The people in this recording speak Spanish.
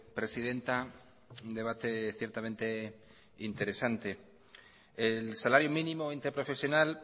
presidenta un debate ciertamente interesante el salario mínimo interprofesional